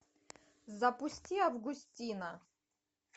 запусти августина